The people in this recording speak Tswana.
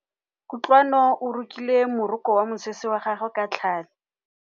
Kutlwanô o rokile morokô wa mosese wa gagwe ka tlhale.